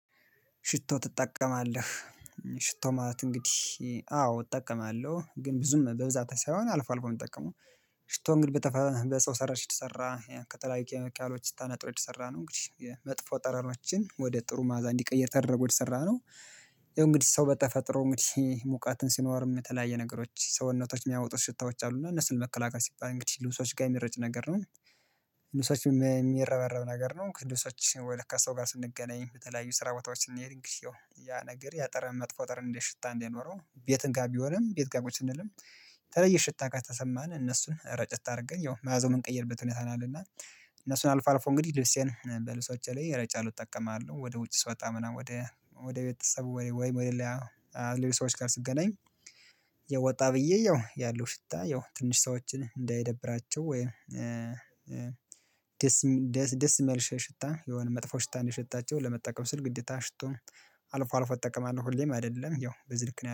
ሽቶ ትጠቀማለህ? ሽቶ ማለት እንግዲህ አዎ እጠቀማለሁ ግን ብዙም በብዛት ሳይሆን አልፎ አልፎ የምጠቀመው። ሽቶ ግን በሰው ሰራሽ የተሰራ ከተለያዩ ኬሚካሎች ተነጥሮ የተሰራ ነው። እንግዲህ የ መጥፎ ጠረኖችን ወደ ጥሩ ማዕዛ እንዲቀይር ተደርጎ የተሰራ ነው። እንግዲህ ሰው በተፈጥሮ እንግዲህ ሙቀት ሲኖርም የተለያየ ነገሮች ሰውነታችን የሚያወጡት ሽታዎች አሉና እነሱን ለመከላከል ሲባል እንግዲህ ልብሶች ጋር የሚረጭ ነገር ነው። እነሱ የሚረበረብ ነገር ነው እነሱ ከሰው ጋር ስንገናኝ በተለያዩ ስራ ቦታዎች ስንሄድ ይሄው ያ ነገር ያጠረን መጥፎ ጥረት እንዴት ሽታ እንደኖረው ቤትን ጋር ቢሆንም ቤት ጋር ቁጭ ስንልም የተለይ ሽታ ጋር ከተሰማን እነሱን ረጨት አድርገን ያው መዓዛውን የምንቀይርበት ሁኔታ ነው አለና እነሱን አልፎ አልፎ እንግዲህ ልብሴን በልሶቼ ላይ ረጫለሁ እጠቀማለሁ ወደ ውጭ ስወጣ ምናምን ወደ ወደ ቤተሰቡ ወይም ወደ ሌላ ሌሎች ሰዎች ጋር ስትገናኝ ወጣ ብዬ ያው ያለው ሽታ ያው ትንሽ ሰዎችን እንዳይደብራቸው ወይ ደስየሚል ደስ ደስየማይል ሸ ሽታ የሆነ መጥፎ ሽታ ነው እንዲሸታቸው ለመጠቀም ስል ግዴታ ሽቶ አልፎ አልፎ እጠቀማለሁ ሁሌም አይደለም ያው ብዙ ልክ ነው